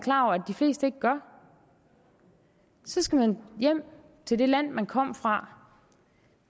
de fleste ikke gør så skal man jo hjem til det land man kom fra